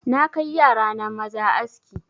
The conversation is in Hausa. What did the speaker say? Na kai yara na maza aski